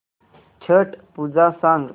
छट पूजा सांग